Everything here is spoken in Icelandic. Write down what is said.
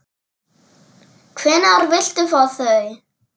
Hvenær viltu fá þau?